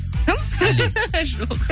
кім жоқ